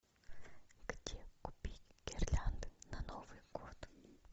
где купить гирлянды на новый год